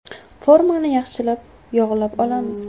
Formani yaxshilab yog‘lab olamiz.